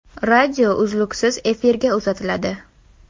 Radio uzluksiz efirga uzatiladi.